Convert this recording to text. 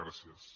gràcies